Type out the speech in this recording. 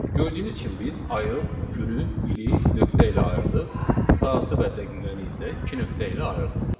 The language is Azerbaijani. Gördüyünüz kimi biz ayı, günü, ili nöqtə ilə ayırdıq, saatı və dəqiqəni isə iki nöqtə ilə ayırdıq.